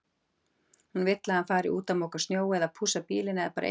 Hún vill að hann fari út að moka snjó eða pússa bílinn eða bara eitthvað.